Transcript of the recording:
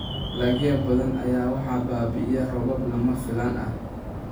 Dalagyo badan ayaa waxaa baabi'iyay roobab lama filaan ah.